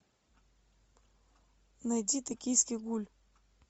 найди токийский гуль